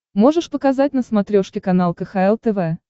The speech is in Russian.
можешь показать на смотрешке канал кхл тв